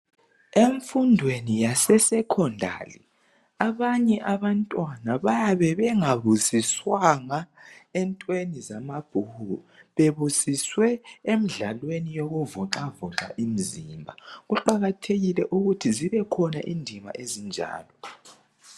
Emfundweni yaseSecondary abanye abantwana bayabe bengabusiswanga entweni zamabhuku, bebusiswe emdlalweni yokuvoxavoxa imzimba. Kuqakathekile ukuthi zibekhona indima ezinjalo.